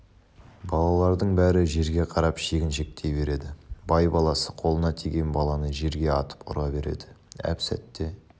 балалардың бәрі жерге қарап шегіншектей береді бай баласы қолына тиген баланы жерге атып ұра береді әп-сетте